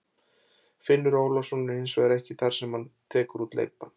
Finnur Ólafsson er hins vegar ekki með þar sem hann tekur út leikbann.